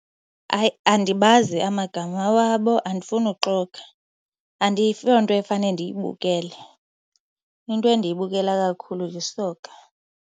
Hayi, andibazi amagama wabo, andifuni uxoka. Ayiyo nto efane ndiyibukele. Into endiyibukela kakhulu yisoka.